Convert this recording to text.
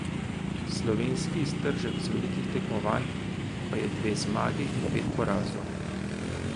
Slovenski iztržek z velikih tekmovanj pa je dve zmagi in pet porazov.